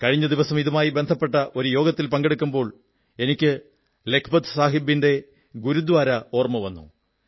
കഴിഞ്ഞ ദിവസം ഇതുമായി ബന്ധപ്പെട്ട യോഗത്തിൽ പങ്കെടുക്കുമ്പോൾ എനിക്ക് ലഖപത് സാഹബിന്റെ ഗുരുദ്വാര ഓർമ്മ വന്നു